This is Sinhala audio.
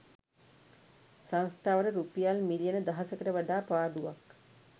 සංස්‌ථාවට රුපියල් මිලියන දහසකට වඩා පාඩුවක්